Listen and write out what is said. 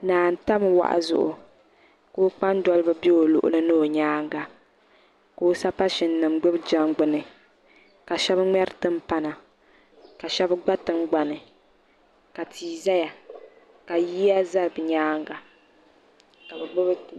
Naa n tabi wahu zuɣu ka o kpambaliba bɛ o luɣa ni o nyaanga ka o sapashini nim gbubi jɛngbuni ka shɛba ŋmeri timpana ka shɛba gba tingbani ka tia zaya ka yiya za bi nyaanga ka bi gbubi.